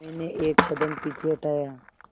मैंने एक कदम पीछे हटाया